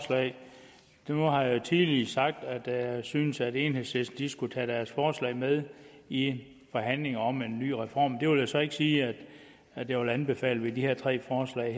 nu har jeg tidligere sagt at jeg synes at enhedslisten skulle tage deres forslag med i forhandlingerne om en ny reform men det vil jeg så ikke sige at jeg vil anbefale med de her tre forslag